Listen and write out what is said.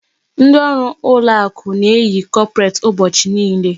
Ndi ọrụ ụlọ akụ na-eyi kọpret ụbọchị niile.